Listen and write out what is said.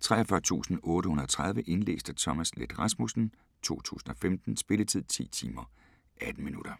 43830 Indlæst af Thomas Leth Rasmussen, 2015. Spilletid: 10 timer, 18 minutter.